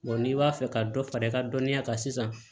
n'i b'a fɛ ka dɔ fara i ka dɔnniya kan sisan